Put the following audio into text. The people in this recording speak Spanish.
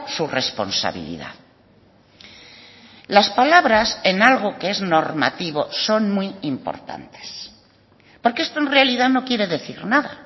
su responsabilidad las palabras en algo que es normativo son muy importantes porque esto en realidad no quiere decir nada